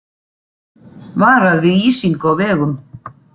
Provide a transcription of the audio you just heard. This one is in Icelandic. Varað við ísingu á vegum